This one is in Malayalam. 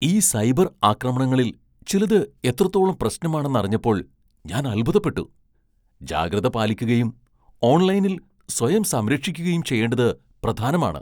ഈ സൈബർ ആക്രമണങ്ങളിൽ ചിലത് എത്രത്തോളം പ്രശ്നമാണെന്ന് അറിഞ്ഞപ്പോൾ ഞാൻ അത്ഭുതപ്പെട്ടു. ജാഗ്രത പാലിക്കുകയും ഓൺലൈനിൽ സ്വയം സംരക്ഷിക്കുകയും ചെയ്യേണ്ടത് പ്രധാനമാണ്.